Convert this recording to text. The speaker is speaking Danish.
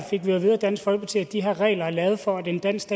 dansk folkeparti at de her regler er lavet for at en dansk